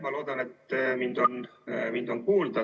Ma loodan, et mind on kuulda.